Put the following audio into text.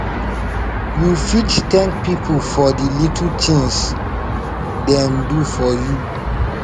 you fit thank people for di little tings dem do for you